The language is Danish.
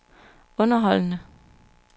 underholdende